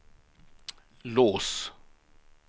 lås